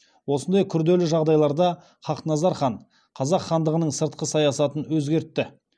осындай күрделі жағдайларда хақназар хан қазақ хандығының сыртқы саясатын өзгертті